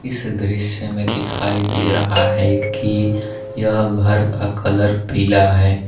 इस दृश्य में दिखाई दे रहा है कि यह घर का कलर पीला है।